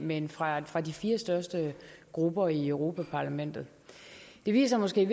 men fra fra de fire største grupper i europa parlamentet det viser måske